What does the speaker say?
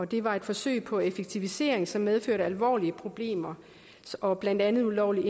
det var et forsøg på effektivisering som medførte alvorlige problemer og blandt andet ulovlig